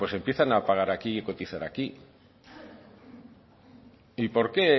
pues empiezan a pagar aquí y cotizar aquí y por qué